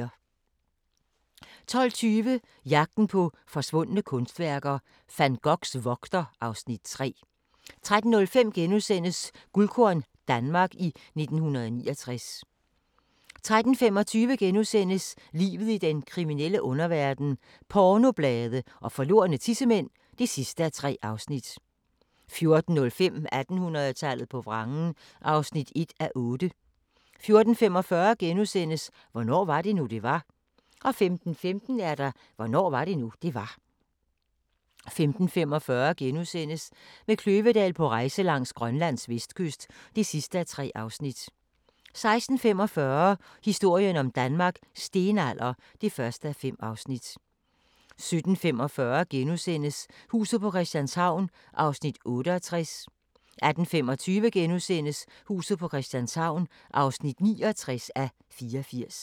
12:20: Jagten på forsvundne kunstværker - Van Goghs vogter (Afs. 3) 13:05: Guldkorn - Danmark i 1969 * 13:25: Livet i den kriminelle underverden - pornoblade og forlorne tissemænd (3:3)* 14:05: 1800-tallet på vrangen (1:8) 14:45: Hvornår var det nu, det var? * 15:15: Hvornår var det nu, det var? 15:45: Med Kløvedal på rejse langs Grønlands vestkyst (3:3)* 16:45: Historien om Danmark: Stenalder (1:5) 17:45: Huset på Christianshavn (68:84)* 18:25: Huset på Christianshavn (69:84)*